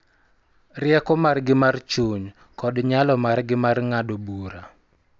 Rieko margi mar chuny kod nyalo margi mar ng�ado bura